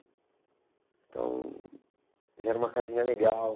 Então, já era uma casinha legal.